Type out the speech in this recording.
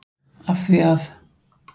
Af því að?